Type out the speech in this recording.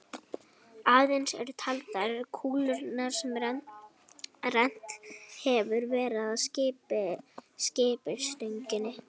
Aðeins eru taldar kúlurnar sem rennt hefur verið að skiptistönginni.